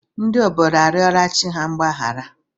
Ndị obodo a rịọrọ chi ha mgbaghara?